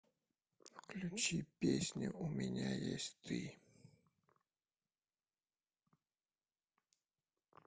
включи песню у меня есть ты